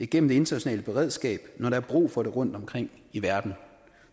gennem det internationale beredskab når der er brug for det rundt omkring i verden